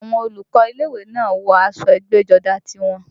Àwọn olùkọ́ ilé ìwé náà wọ aṣọ ẹgbẹ́jọdá tiwọn